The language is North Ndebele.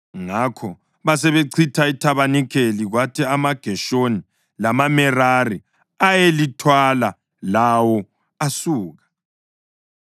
Ngakho basebechitha ithabanikeli, kwathi amaGeshoni lamaMerari ayelithwala, lawo asuka.